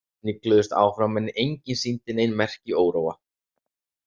Snigluðust áfram en enginn sýndi nein merki óróa.